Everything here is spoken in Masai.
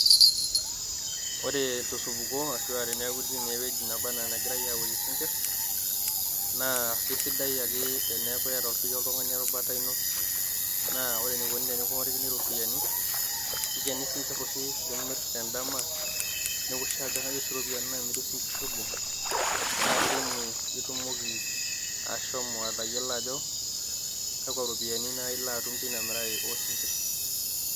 Ore tosupuko ashu aa tenitii naa ewueji nebaa enaa enegirai aworie isinkirr. Naa keisidai ake teniaku iyata ake siiyie erubata ino, naa ore enikoni tenikiorikini iropiyiani kikeni sinkirr oshi limirr te n`dama. Newoshi ajo kaja oshi irropiyiani naamiri osinkirri obo. Naa teine itumoki ashomo atayiolo ajo kakwa ropiyiani naaji ilo itum teina mirare oo sinkirr.